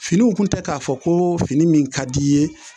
Finiw tun tɛ k'a fɔ ko fini min ka di i ye